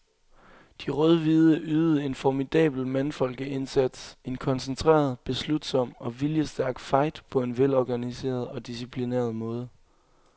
De rødhvide ydede en formidabel mandfolkeindsats, en koncentreret, beslutsom og viljestærk fight på en velorganiseret og disciplineret måde.